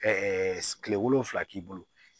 kile wolonfila k'i bolo